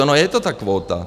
Ona je to ta kvóta.